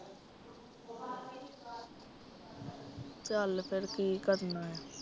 ਚੱਲ ਫੇਰ ਕਿ ਕਰਨਾ ਆ।